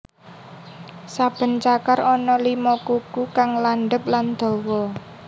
Saben cakar ana lima kuku kang landhep lan dawa